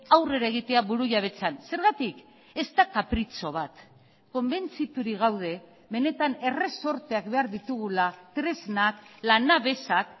aurrera egitea burujabetzan zergatik ez da kapritxo bat konbentziturik gaude benetan erresorteak behar ditugula tresnak lanabesak